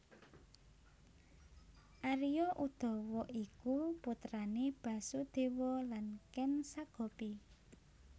Arya Udawa iku putrane Basudewa lan Ken Sagopi